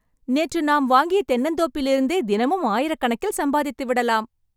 நேற்று நாம் வாங்கிய தென்னந்தோப்பிலிருந்தே தினமும் ஆயிரக்கணக்கில்‌ சம்பாதித்து விடலாம்